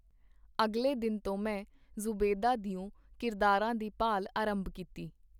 ਅਗਲੇ ਦਿਨ ਤੋਂ ਮੈਂ ਜ਼ੂਬੈਦਾ ਦਿਓ ਕਿਰਦਾਰਾਂ ਦੀ ਭਾਲ ਅਰੰਭ ਕੀਤੀ.